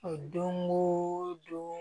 O don o don